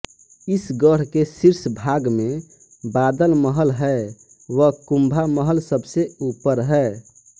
इस गढ़ के शीर्ष भाग में बादल महल है व कुम्भा महल सबसे ऊपर है